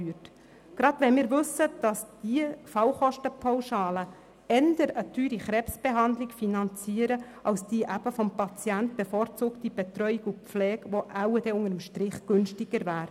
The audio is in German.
Dies gerade wenn wir wissen, dass die Fallkostenpauschalen eher eine teure Krebsbehandlung finanzieren als die eben vom Patienten bevorzugte Betreuung und Pflege, die dann unter dem Strich wohl günstiger wäre.